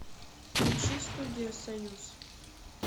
включи студия союз